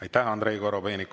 Aitäh, Andrei Korobeinik!